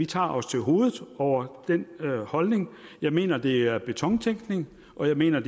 tager os til hovedet over den holdning jeg mener det er betontænkning og jeg mener